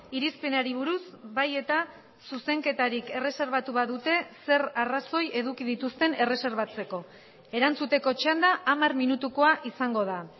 irizpenari buruz bai eta zuzenketarik erreserbatu badute zer arrazoi eduki dituzten erreserbatzeko erantzuteko txanda hamar minutukoa izango da